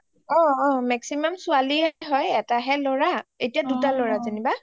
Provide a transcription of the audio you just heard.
অ অ maximum ছোৱালীএ হয় এটা হে লৰা এতিয়া দুটা লৰা অ অ যেনিবা